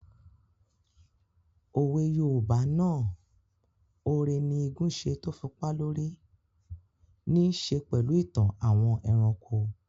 Òwe yoòbá náà "ore ni igún ṣe tó fi pá lórí" níí ṣe pẹ̀lú ìtàn àwọn ẹranko